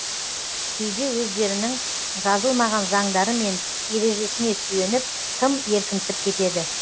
кейде өздерінің жазылмаған заңдары мен ережесіне сүйеніп тым еркінсіп кетеді